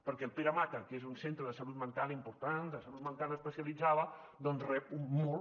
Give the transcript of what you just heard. perquè el pere mata que és un centre de salut mental important de salut mental especialitzada doncs rep molt